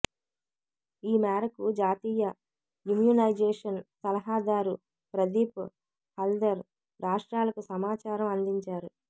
ఈ మేరకు జాతీయ ఇమ్యునైజేషన్ సలహాదారు ప్రదీప్ హల్డర్ రాష్ట్రాలకు సమాచారం అందించారు